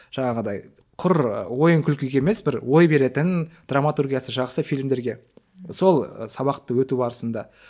жаңағыдай құр ойын күлкіге емес бір ой беретін драматургиясы жақсы фильмдерге сол сабақты өту барысында